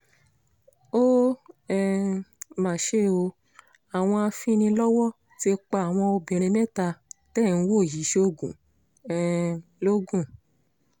ó um mà ṣe o àwọn afinilọ́wọ́ ti pa àwọn obìnrin mẹ́ta tẹ́ ẹ̀ ń wò yìí sóògùn um logun